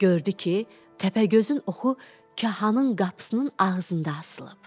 Gördü ki, təpəgözün oxu kahanın qapısının ağzında asılıb.